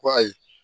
Ko ayi